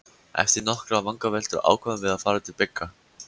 Eftir nokkrar vangaveltur ákváðum við að fara til Bigga.